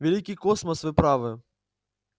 великий космос вы правы